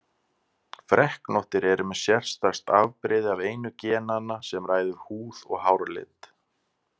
Freknóttir eru með sérstakt afbrigði af einu genanna sem ræður húð- og hárlit.